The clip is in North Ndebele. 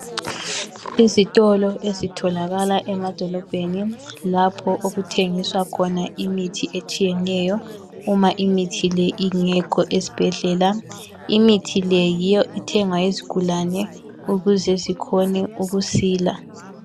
Izitolo ezitholakala emadolobheni, lapho okuthengiswa khona imithi etshiyeneyo, Uma imithi le ingekho esibhedlela. Imithi le yiyo eithengwa yizigulane, ukuze zikhone ukusila.